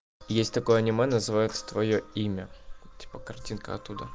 есть такое аниме называется твоё имя типа картинка оттуда